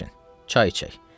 Əyləşin, çay içək.